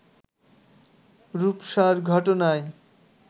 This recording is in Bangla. রুপসার ঘটনায়